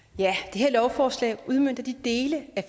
her lovforslag udmønter de dele af